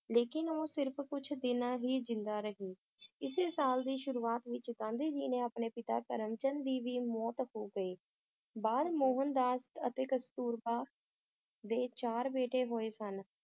ਲੇਕਿਨ ਉਹ ਸਿਰਫ ਕੁਛ ਦਿਨਾਂ ਹੀ ਜ਼ਿੰਦਾ ਰਹੀ ਇਸੇ ਸਾਲ ਦੀ ਸ਼ੁਰੂਆਤ ਵਿਚ ਗਾਂਧੀ ਜੀ ਨੇ ਆਪਣੇ ਪਿਤਾ ਕਰਮਚੰਦ ਦੀ ਵੀ ਮੌਤ ਹੋ ਗਈ ਬਾਅਦ ਮੋਹਨਦਾਸ ਅਤੇ ਕਸਤੂਰਬਾ ਦੇ ਚਾਰ ਬੇਟੇ ਹੋਏ ਸਨ